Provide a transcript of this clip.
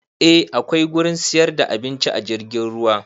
A akwai gurin siyar da abinci a jirgin ruwa